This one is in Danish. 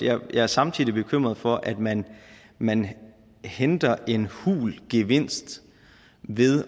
er jeg samtidig bekymret for at man man henter en hul gevinst ved